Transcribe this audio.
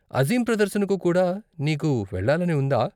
అజీం ప్రదర్శనకు కూడా నీకు వెళ్ళాలని ఉందా?